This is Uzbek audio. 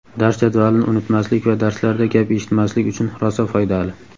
Dars jadvalini unutmaslik va darslarda gap eshitmaslik uchun rosa foydali.